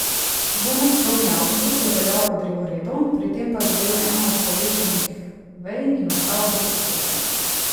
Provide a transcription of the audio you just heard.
Dvonadstropni avtobus je peljal po drevoredu, pri tem pa zadel eno od povešenih vej in ostal brez strehe.